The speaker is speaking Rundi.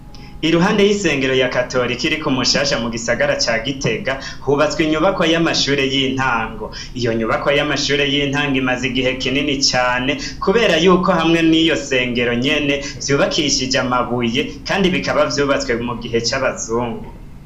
Iruhande y'isengero rya katorika iri ku Mushasha mu gisagara ca Gitega, hubatswe inyubakwa y'amashure y'intango, iyo nyubakwa y'amashure y'intango imaze igihe kinini cane, kubera yuko hamwe niyo sengero nyene vyubakishije amabuye, kandi bikaba vyubatswe mu gihe c'abazungu.